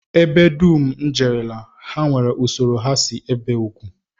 Ebe dum m jerela, ha nwere usoro ha si ebi ugwu